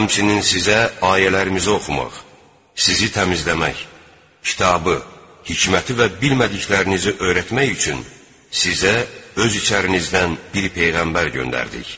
Həmçinin sizə ayələrimizi oxumaq, sizi təmizləmək, kitabı, hikməti və bilmədiklərinizi öyrətmək üçün sizə öz içərinizdən bir peyğəmbər göndərdik.